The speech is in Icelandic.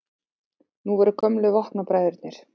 Nú voru gömlu vopnabræðurnir